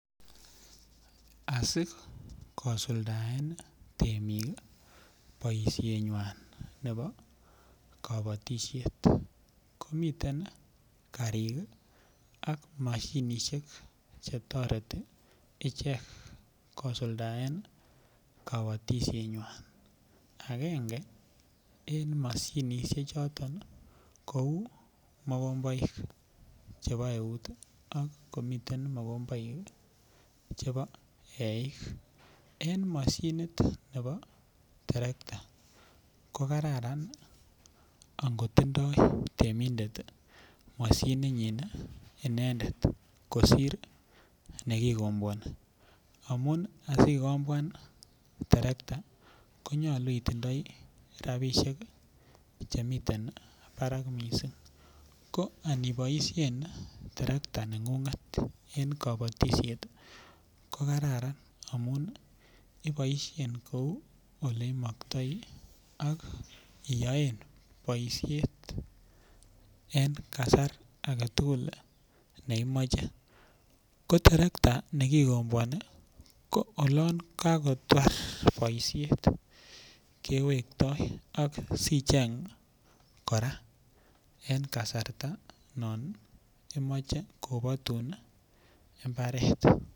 Asi kosuldaen temik boisienywa nebo kabatisiet ko miten karik ak mashinisiek Che toreti ichek kosuldaen kabatisienywa agenge en mashinisiek choton kou mokomboik chebo eut ii ak komiten mokomboik chebo eik en moshinit nebo terekta ko Kararan ango tindo temindet terekta inyin kosir nekikombwoni asi ikobwan terekta ko nyolu itindoi rabisiek Che miten barak mising ko aniboisien terekta nengunget ko Kararan iboisien kou Ole imoktoi iyoen boisiet en kasar age tugul ne imache ko terekta nekikombwoni olon ko tar kewektoi asi icheng kora en kasarta non imoche kobatun mbaret